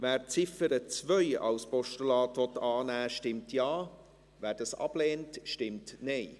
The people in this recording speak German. Wer die Ziffer 2 als Postulat annehmen will, stimmt Ja, wer dies ablehnt, stimmt Nein.